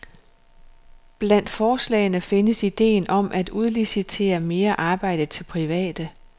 Blandt forslagene findes ideen om at udlicitere mere arbejde til private.